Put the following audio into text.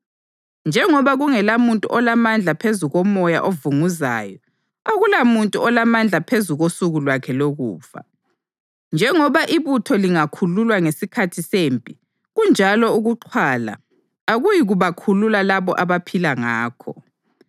Njengoba kungelamuntu olamandla phezu komoyo ovunguzayo Akulamuntu olamandla phezu kosuku lwakhe lokufa. Njengoba ibutho lingakhululwa ngesikhathi sempi, kunjalo ukuxhwala akuyikubakhulula labo abaphila ngakho.